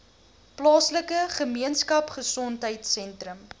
plaaslike gemeenskapgesondheid sentrum